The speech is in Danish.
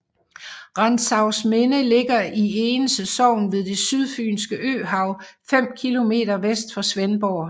Rantzausminde ligger i Egense Sogn ved det Sydfynske Øhav fem kilometer vest for Svendborg